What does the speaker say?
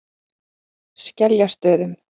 Skeljastöðum